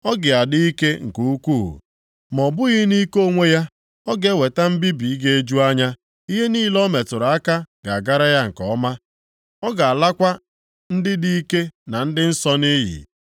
Ọ ga-adị ike nke ukwuu, ma ọ bụghị nʼike onwe ya, ọ ga-eweta mbibi ga-eju anya. Ihe niile o metụrụ aka ga-agara ya nke ọma. Ọ ga-alakwa ndị dị ike na ndị nsọ nʼiyi.